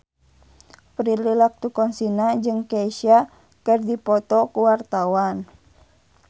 Prilly Latuconsina jeung Kesha keur dipoto ku wartawan